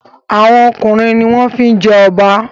Awon ọkùnrin ní wón fí jé Oba.